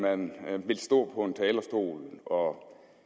man vil stå på en talerstol og